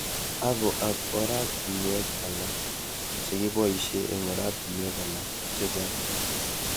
Ako ak oratinwek alak chekipoishe eng' oratinwek alak chechang'